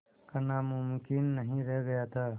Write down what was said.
करना मुमकिन नहीं रह गया था